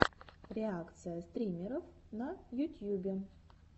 реакция стримеров на ютьюбе